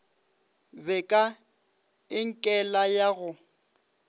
be ka enkele ya go